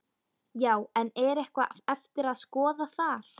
Já, en er eitthvað eftir að skoða þar?